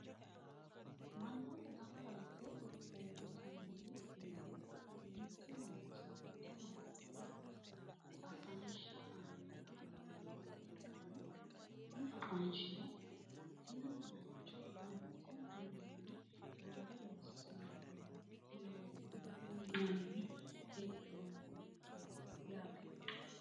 manootu ganba yitte uuritinori mereero mittu manchi mitte manchora afanishsha aani afamanoha ikanna Kuni afanshshino tinni mancho wolootu wiinni roore loosinohurati uyinanni hee'nonisehu yaate.